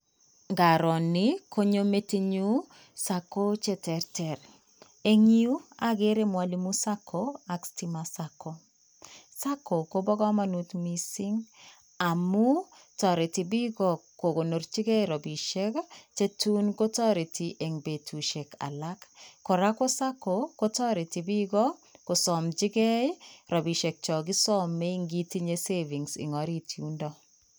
Ingaro nii konyo metinyun SACCO cheterter en yuu okere mwalimu SACCO ak stima SACCO, SACCO kobo komonut missing amun toreti bik kokonorchi gee rabishek chetun kotoreti en betushek alak koraa ko SACCO kotoreti bik ko somchigee rabishek cho kisome ikitinye savings en orit yundok.